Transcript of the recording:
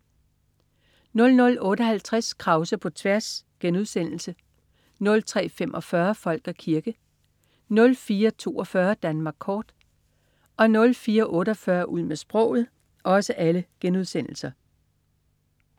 00.58 Krause på tværs* 03.45 Folk og kirke* 04.42 Danmark kort* 04.48 Ud med sproget*